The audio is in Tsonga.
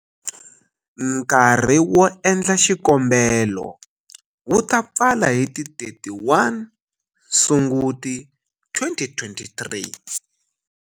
Nkarhi wo endla xikombelo wu ta pfala hi ti31 Sunguti 2023.